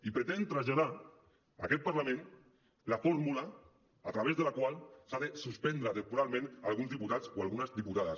i pretén traslladar a aquest parlament la fórmula a través de la qual s’ha de suspendre temporalment alguns diputats o algunes diputades